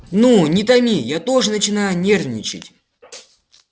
ну не томи я тоже начинаю нервничать